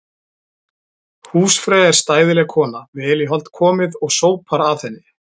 Húsfreyja er stæðileg kona, vel í hold komið og sópar að henni.